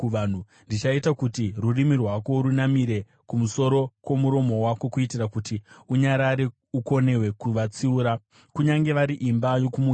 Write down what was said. Ndichaita kuti rurimi rwako runamire kumusoro kwomuromo wako kuitira kuti unyarare ukonewe kuvatsiura, kunyange vari imba yokumukira.